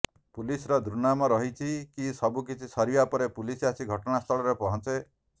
ପୁଲିସର ଦୁର୍ନାମ ରହିଛି କି ସବୁକିଛି ସରିବା ପରେ ପୁଲିସ ଆସି ଘଟଣାସ୍ଥଳରେ ପହଞ୍ଚେ